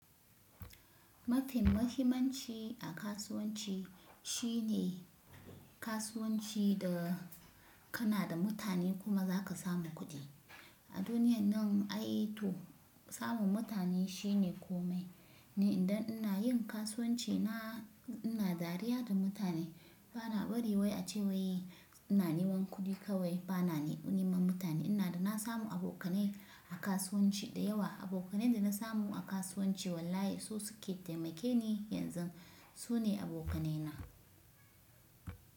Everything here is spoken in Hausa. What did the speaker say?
Mafi muhimmanci a kasuwanci shine kasuwanci da kana da mutane kuma za ka samu kuɗi. A duniyan nan ai to samun mutane shine komai. Ni indan ina yin kasuwanci na ina dariya da mutane. Ba na bari wai a ce wai ina neman kuɗi kawai, ba na neman mutane. Ina da na samu abokanai a kasuwanci da yawa. Abokanai da na samu a kasuwanci wallahi su suke taimake ni yanzu su ne abokanaina.